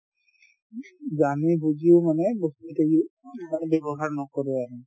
জানি বুজিও মানে )‌) উম মানে ব্যৱহাৰ নকৰে আৰু